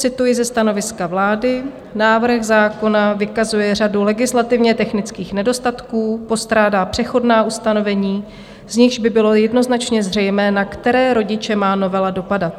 cituji ze stanoviska vlády - "návrh zákona vykazuje řadu legislativně technických nedostatků, postrádá přechodná ustanovení, z nichž by bylo jednoznačně zřejmé, na které rodiče má novela dopadat.